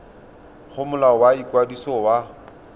go molao wa ikwadiso wa